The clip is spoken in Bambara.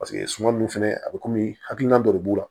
Paseke suman nun fɛnɛ a bɛ kɔmi hakilina dɔ de b'u la